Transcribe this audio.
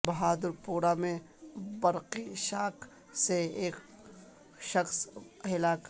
بہادر پورہ میں برقی شاک سے ایک شخص ہلاک